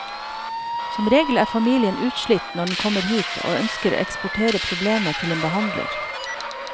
Som regel er familien utslitt når den kommer hit og ønsker å eksportere problemet til en behandler.